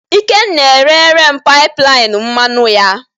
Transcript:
ikenna erere m pipeline mmanụ ya